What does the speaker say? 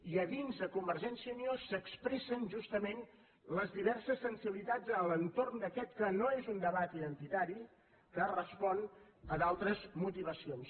i a dins de convergència i unió s’expressen justament les diverses sensibilitats a l’entorn d’aquest que no és un debat identitari que respon a d’altres motivacions